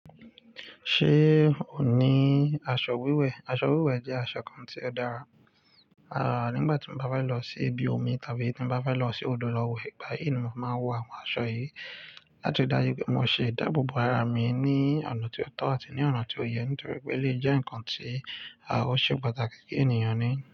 Ṣé ò ní aṣọ wíwẹ̀? Aṣọ wíwẹ̀ jẹ́ aṣọ kan tí ó dára. Nígbà tí mo bá wà ń lọ sí ibi omi tàbí tí mo bá fẹ́ lọ sí odò lọ wẹ̀, ìgbà yìí ni mo máa ń wọ àwọn aṣọ yìí. Láti rí dájú pé mo ṣe dáàbò bo ara mi ní ọ̀nà tí ó tọ́ àti ní ọ̀nà tí ó yẹ, nítorí pé èléyìí jẹ́ ǹkan tí a ó ṣe pàtàkì kí ènìyàn ní.